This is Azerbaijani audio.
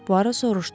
Puaro soruşdu.